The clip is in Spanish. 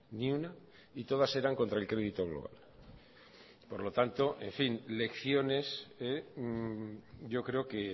ni una y todas eran contra el crédito global por lo tanto en fin lecciones yo creo que